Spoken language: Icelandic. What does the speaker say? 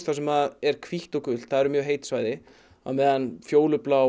sem er hvítt og gult þar eru mjög heit svæði á meðan fjólubláu